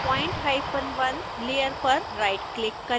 point1 layer पर right click करें